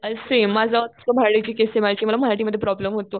Same माझं मला मराठी मध्ये प्रॉब्लेम होतो.